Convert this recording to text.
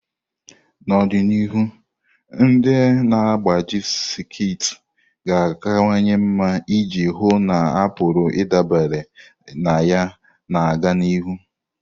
N'ọdịnihu, ndị na-agbaji sekit ga-akawanye mma iji hụ na a pụrụ ịdabere na ya na-aga n'ihu.